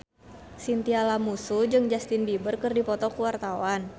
Chintya Lamusu jeung Justin Beiber keur dipoto ku wartawan